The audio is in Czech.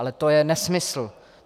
Ale to je nesmysl.